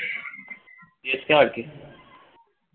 আবার কে?